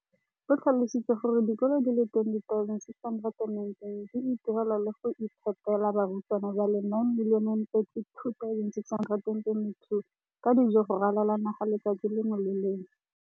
O tlhalositse gore dikolo tse di sa akarediwang mo lenaaneng leno di ikopanye le dikantoro tsa kgaolo fa e le gore le tsona di batla go akarediwa.